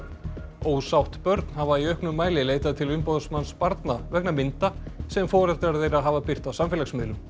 ósátt börn hafa í auknum mæli leitað til umboðsmanns barna vegna mynda sem foreldrar þeirra hafa birt á samfélagsmiðlum